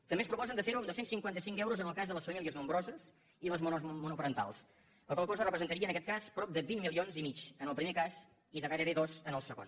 també ens proposen de ferho en dos cents i cinquanta cinc euros en el cas de les famílies nombroses i les monoparentals la qual cosa representaria en aquest cas prop de vint milions i mig en el primer cas i de gairebé dos en el segon